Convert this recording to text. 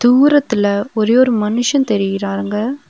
தூரத்துல ஒரே ஒரு மனுஷன் தெரியிறாங்க.